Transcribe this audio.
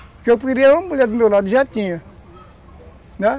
Porque eu queria uma mulher do meu lado, já tinha.